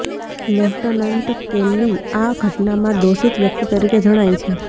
lieutenant Kelly આ ઘટનામાં દોષિત વ્યક્તિ તરીકે જણાય છે